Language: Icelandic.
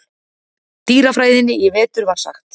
dýrafræðinni í vetur var sagt.